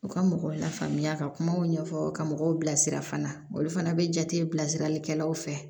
U ka mɔgɔw lafaamuya ka kumaw ɲɛfɔ ka mɔgɔw bilasira fana olu fana bɛ jate bilasiralikɛlaw fɛ